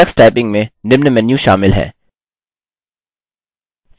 tux typing में निम्न menu शामिल हैं